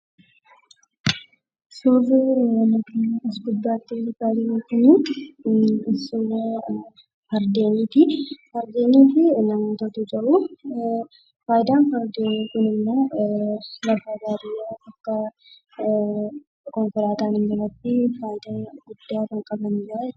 Suurri nuti as gubbaatti argaa jirru kun, suuraa Fardeeniiti. Fardeenii fi namootatu jiru. Faayidaan fardeenii kun immoo, lafa baadiyyaa bakka konkolaataan hin jirretti faayidaa guddaa kan qabaniidha jechuudha.